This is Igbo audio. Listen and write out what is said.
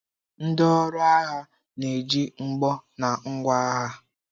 Ndi ọrụ agha na-eji mgbọ na ngwa agha.